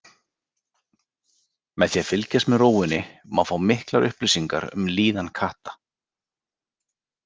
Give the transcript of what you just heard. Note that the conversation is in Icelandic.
Með því að fylgjast með rófunni má fá miklar upplýsingar um líðan katta.